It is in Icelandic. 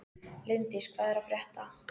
Líndís, hvað er að frétta?